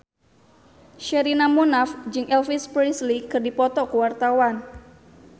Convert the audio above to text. Sherina Munaf jeung Elvis Presley keur dipoto ku wartawan